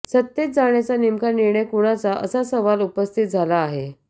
सत्तेत जाण्याचा नेमका निर्णय कुणाचा असा सवाल उपस्थित झाला आहे